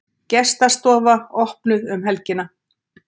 Gestastofa opnuð um helgina